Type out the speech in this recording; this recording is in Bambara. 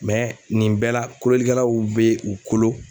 Mɛ nin bɛɛ la kololikɛlaw be u kolo